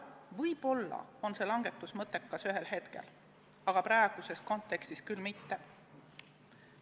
Võib-olla on see langetus mõttekas ühel hetkel, aga praeguses kontekstis küll mitte.